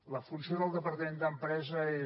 la funció del departament d’empresa és